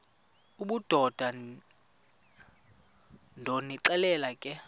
obudoda ndonixelela ke